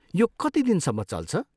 यो कति दिनसम्म चल्छ?